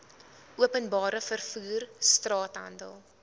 openbare vervoer straathandel